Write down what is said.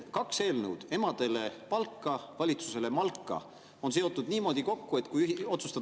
Kaks eelnõu – emadele palka, valitsusele malka – on seotud niimoodi kokku, et kui otsustada …